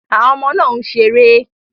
Àwọn ọmọdé náà ń ṣeré